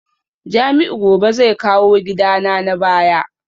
Jamiu gobe zai kawo gidana na baya